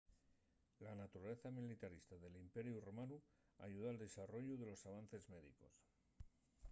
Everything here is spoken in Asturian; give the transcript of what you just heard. la naturaleza militarista del imperiu romanu ayudó al desarrollu de los avances médicos